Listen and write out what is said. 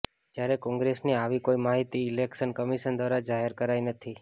જ્યારે કોંગ્રેસની આવી કોઈ માહિતી ઈલેક્શન કમિશન દ્વારા જાહેર કરાઈ નથી